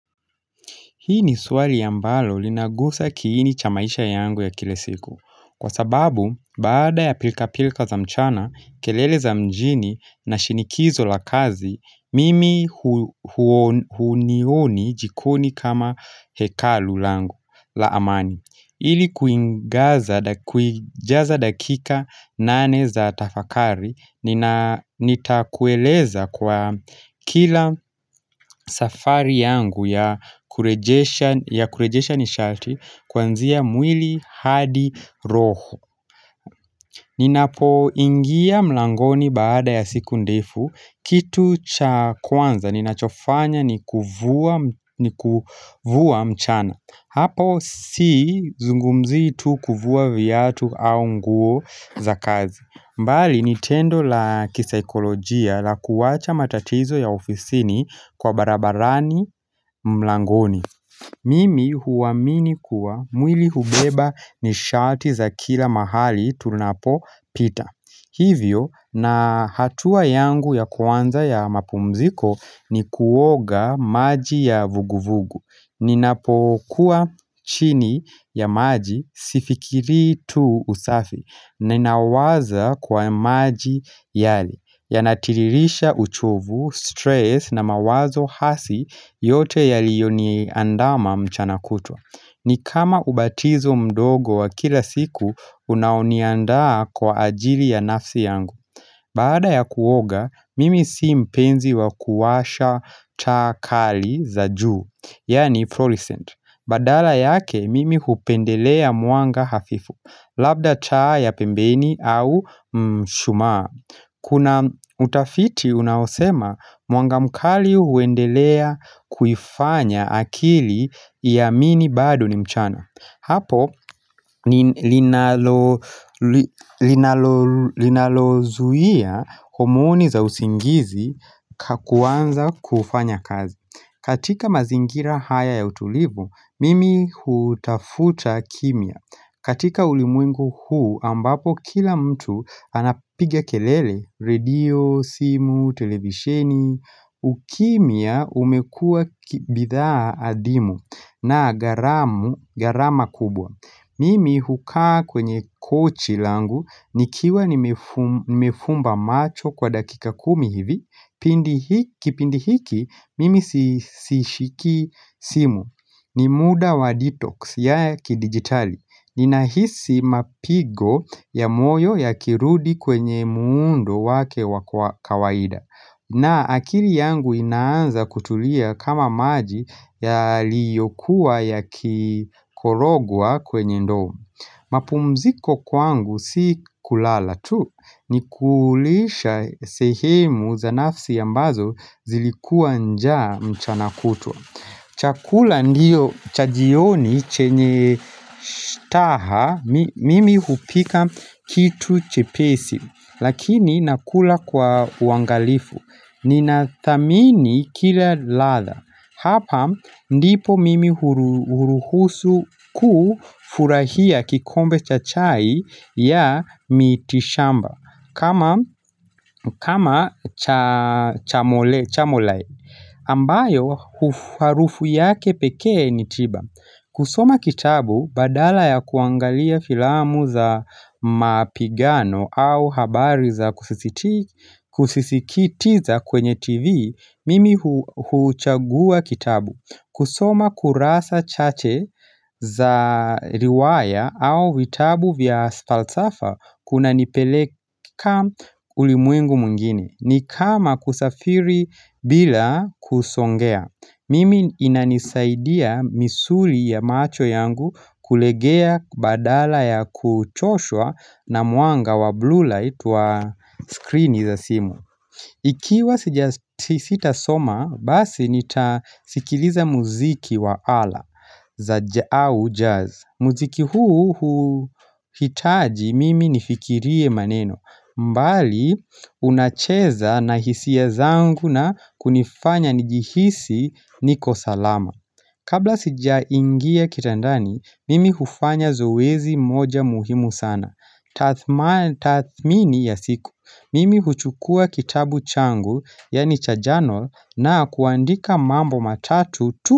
Hii ni swali ambalo linagusa kiini cha maisha yangu ya kila siku. Kwa sababu, baada ya pilka-pilka za mchana, kelele za mjini na shinikizo la kazi, mimi hunioni jikoni kama hekalu langu la amani. Ili kuijaza dakika nane za tafakari nitakueleza kwa kila safari yangu ya kurejesha nishati kwanzia mwili hadi roho Ninapoingia mlangoni baada ya siku ndefu kitu cha kwanza ninachofanya ni kuvua mchana Hapo sizungumzi tu kuvua viatu au nguo za kazi bali ni tendo la kisaikolojia la kuwacha matatizo ya ofisini kwa barabarani mlangoni Mimi huamini kuwa mwili hubeba nishati za kila mahali tunapopita Hivyo na hatua yangu ya kwanza ya mapumziko ni kuoga maji ya vuguvugu Ninapokuwa chini ya maji sifikiri tu usafi Ninawaza kwa maji yale Yanatiririsha uchovu, stress na mawazo hasi yote yaliyoniandama mchana kutwa ni kama ubatizo mdogo wa kila siku unaoniandaa kwa ajili ya nafsi yangu Baada ya kuoga, mimi si mpenzi wa kuwasha taa kali za juu Yaani fluorescent, badala yake mimi hupendelea mwanga hafifu, labda taa ya pembeni au mshumaa Kuna utafiti unaosema mwanga mkali huendelea kufanya akili ya iamini bado ni mchana Hapo linalozuia homoni za usingizi kwa kuanza kufanya kazi katika mazingira haya ya utulivu, mimi hutafuta kimya. Katika ulimwengu huu ambapo kila mtu anapiga kelele, radio, simu, televisheni, ukimya umekua bidhaa adimu na gharama kubwa. Mimi hukaa kwenye kochi langu, nikiwa nimefumba macho kwa dakika kumi hivi, kipindi hiki mimi sishiki simu, ni muda wa detox ya kidigitali, ninahisi mapigo ya moyo yakirudi kwenye muundo wake wa kawaida na akili yangu inaanza kutulia kama maji yaliyokuwa yakikorogwa kwenye ndoo. Mapumziko kwangu si kulala tu. Ni kulisha sehemu za nafsi ambazo zilikuwa njaa mchana kutwa. Chakula ndiyo cha jioni chenye staha mimi hupika kitu chepesi. Lakini nakula kwa uangalifu. Ninathamini kila ladha. Hapa ndipo mimi huruhusu kufurahia kikombe cha chai ya miti shamba kama chamole. Ambayo harufu yake pekee ni tiba. Kusoma kitabu badala ya kuangalia filamu za mapigano au habari za kusisikitiza kwenye tv, mimi huchagua kitabu. Kusoma kurasa chache za riwaya au vitabu vya falsafa kunanipeleka ulimwengu mwingine ni kama kusafiri bila kusongea Mimi inanisaidia misuli ya macho yangu kulegea badala ya kuchoshwa na mwanga wa blue light wa screen za simu Ikiwa sija sitasoma, basi nitasikiliza muziki wa ala za au jazz muziki huu hitaji mimi nifikirie maneno bali unacheza na hisia zangu na kunifanya nijihisi niko salama Kabla sijaingia kitandani, mimi hufanya zoezi moja muhimu sana tathmini ya siku mimi huchukua kitabu changu yaani cha journal na kuandika mambo matatu tu.